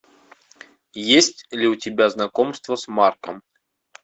есть ли у тебя знакомство с марком